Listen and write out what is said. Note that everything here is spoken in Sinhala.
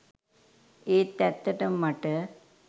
ඒත් ඇත්තටම මට.